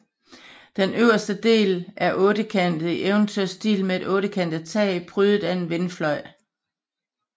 Den øverste del er ottekantet i eventyrstil med et ottekantet tag prydet af en vindfløj